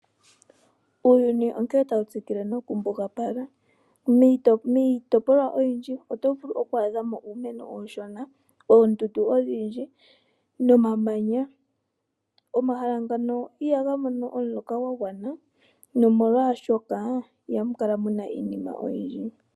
Uuyuni onkene tawu tsikile nokumbugapala. Miitopolwa oyindji oto vulu okwaadhamo iimeno iishona, oondundu odhindji nomamanya. Omahala ngano ihaga mono omuloka gwagwana molwaashoka ohamu kala muna iinima oyindji.